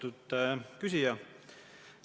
Lugupeetud küsija!